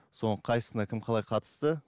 соның қайсысына кім қалай қатысты